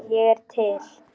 Ég er til